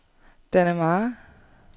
Dannemare